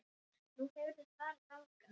Nú, hefurðu farið þangað?